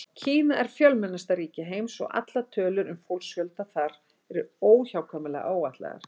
Kína er fjölmennasta ríki heims og allar tölur um fólksfjölda þar eru óhjákvæmilega áætlaðar.